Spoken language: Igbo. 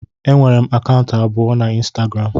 Enwere m akaụntụ abụọ na ịnstagram